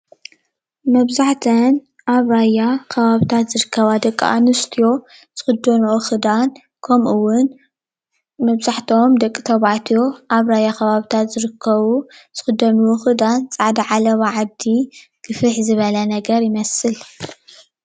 መብዛሕተአን ኣብ ራያ ከባቢታት ዝርከባ ደቂ ኣንስትዮ ዝክደንኦ ክዳን ከምኡ እዉን ምብዛሕትኦም ደቂ ተባዕትዮ ኣብ ራያ ከባብታት ዝርከቡ ዝክደንዎ ክዳን ፃዕዳ ዓለባ ዓዲ ግፍሕ ዝበለ ነገር ይመስል ።